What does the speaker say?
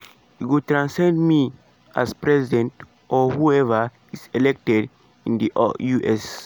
"e go transcend me as president or whoever is elected in di us."